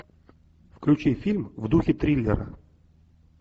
включи фильм в духе триллера